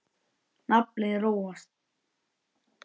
Naflinn róast.